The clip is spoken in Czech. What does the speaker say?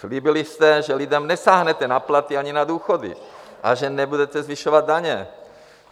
Slíbili jste, že lidem nesáhnete na platy ani na důchody a že nebudete zvyšovat daně.